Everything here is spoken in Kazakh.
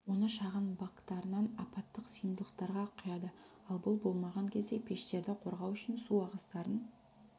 оны шығын бактарынан апаттық сыйымдылықтарға құяды ал бұл болмаған кезде пештерді қорғау үшін су ағыстарын